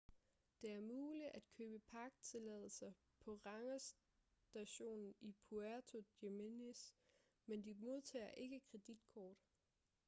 det er muligt at købe parktilladelser på rangerstationen i puerto jiménez men de modtager ikke kreditkort